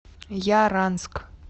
яранск